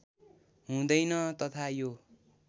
हुँदैन तथा यो